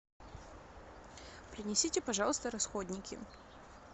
принесите пожалуйста расходники